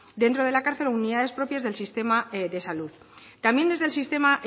dentro de la cárcel o unidades propias del sistema de salud también desde el sistema